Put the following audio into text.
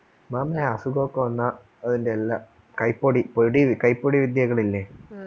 മാമി അസുഖോക്കെ വന്നാ അതിന്റെ എല്ലാ കൈപൊടി പൊടി കൈപൊടി വിദ്യകളില്ലേ